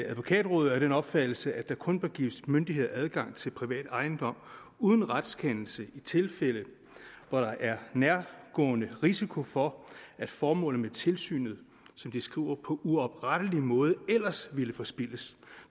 advokatrådet er af den opfattelse at der kun bør gives myndigheder adgang til privat ejendom uden retskendelse i tilfælde hvor der er nærgående risiko for at formålet med tilsynet som de skriver på uoprettelig måde ellers ville forspildes